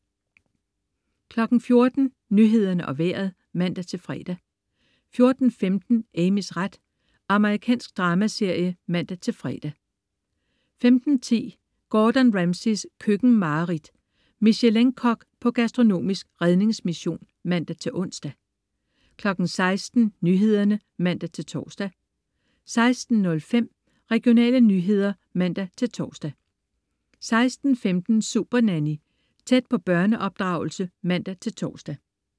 14.00 Nyhederne og Vejret (man-fre) 14.15 Amys ret. Amerikansk dramaserie (man-fre) 15.10 Gordon Ramsays køkkenmareridt .Michelin-kok på gastronomisk redningsmission (man-ons) 16.00 Nyhederne (man-tors) 16.05 Regionale nyheder (man-tors) 16.15 Supernanny. Tæt på børneopdragelse (man-tors)